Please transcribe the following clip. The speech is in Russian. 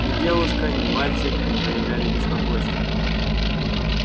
ни девушка ни мальчик не проявляли беспокойства